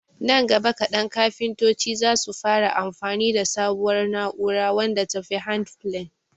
nan gaba kadan kafintoci zasu fara amfani da sabuwar na'ura wadda tafi handplane